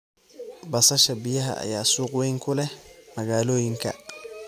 Basasha biyaha ayaa suuq weyn ku leh magaalooyinka.